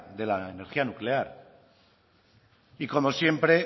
de la energía nuclear y como siempre